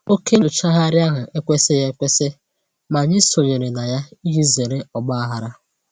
Oke nnyochagharị ahụ ekwesịghị ekwesị, ma anyị sonyere na ya iji zere ọgbaghara